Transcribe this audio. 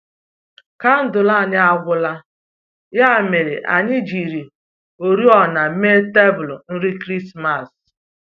Kandụl anyi agwụla, ya mere anyị jiri oriọna mee tebụl nri Krismas